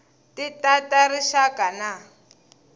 ti ta ta rixaka na